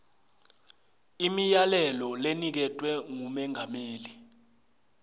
imiyalelo leniketwe ngumengameli